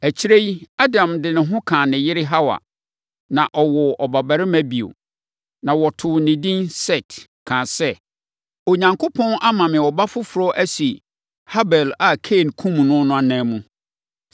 Akyire yi, Adam de ne ho kaa ne yere Hawa. Na ɔwoo ɔbabarima bio. Na wɔtoo no edin Set kaa sɛ, “Onyankopɔn ama me ɔba foforɔ asi Habel a Kain kumm no no ananmu.”